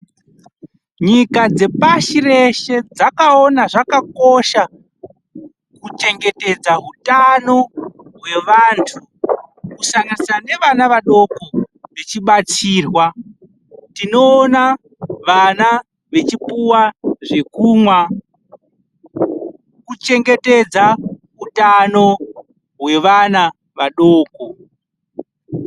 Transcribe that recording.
Nyika dzepashi reshe dzakaona zvakakosha kuchengetedza utano hwevantu kusanganisira nevana vadoko vechibatsirwa. Tinoona vana vachipuwa zvekumwa kuri kuchengetedza utano hwevana vadoko.